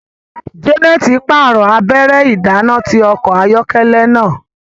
Janet parọ abẹrẹ idana ti ọkọ ayọkẹlẹ náà